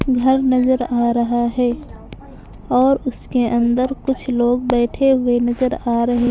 घर नजर आ रहा हैं और उसके अंदर कुछ लोग बैठे हुए नजर आ रहे --